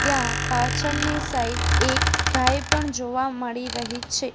ત્યાં પાછળની સાઈડ એક ગાય પણ જોવા મળી રહી છે.